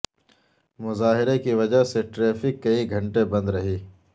مظاہرے کی وجہ سے ٹریفک کئی گھنٹے بند رہی